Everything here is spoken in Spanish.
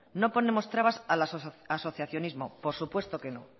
no ponemos trabas al asociacionismo por puesto que no